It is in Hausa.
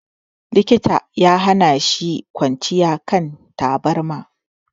Likita ya hana shi kwanciya a kan tabarma.